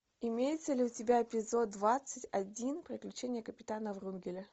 имеется ли у тебя эпизод двадцать один приключения капитана врунгеля